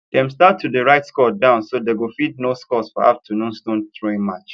dem start to dey write score down so dey go fit know scores for afternoon stone throwing match